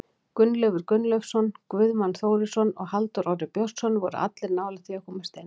Gunnleifur Gunnleifsson, Guðmann Þórisson og Halldór Orri Björnsson voru allir nálægt því að komast inn.